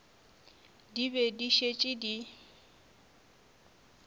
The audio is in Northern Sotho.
di be di šetše di